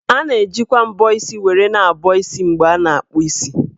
A na-ejikwa mbọ isi were na-abọ isi ma a na-akpụ isi.